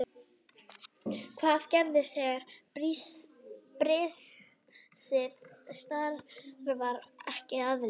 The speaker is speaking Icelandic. Hvað gerist þegar brisið starfar ekki eðlilega?